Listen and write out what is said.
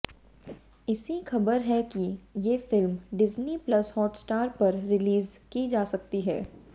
ऐसी खबर है कि ये फिल्म डिज्नी प्लस हॉटस्टार पर रिलीज की जा सकती हैं